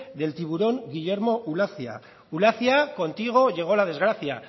del tiburón guillermo ulacia ulacia contigo llegó al desgracia